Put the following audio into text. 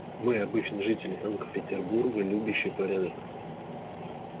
мы обычные жители санкт-петербурга любящие порядок